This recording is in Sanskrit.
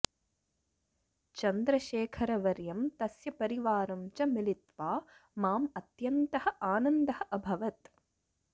चन्द्रशेखरवर्यं तस्य परिवारं च मिलित्वा माम् अत्यन्तः आनन्दः अभवत्